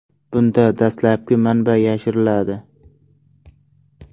Bunda dastlabki manba yashiriladi.